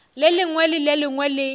lengwe le le lengwe le